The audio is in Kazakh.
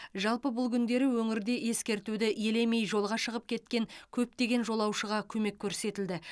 жалпы бұл күндері өңірде ескертуді елемей жолға шығып кеткен көптеген жолаушыға көмек көрсетілді